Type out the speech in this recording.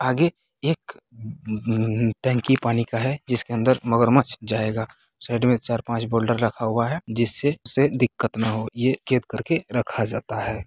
आगे एक उ-उ टंकी पानी का है जिसके अंदर मगरमच्छ जायेगा | साइड में एक चार-पांच बोल्डर रखा हुआ है जिससे उसे दिक्कत न हो| ये एक-एक करके रखा जाता है।